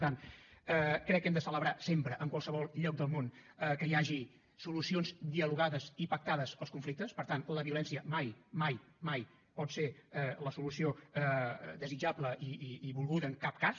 per tant crec que hem de celebrar sempre en qualsevol lloc del món que hi hagi solucions dialogades i pactades als conflictes per tant la violència mai mai mai pot ser la solució desitjable i volguda en cap cas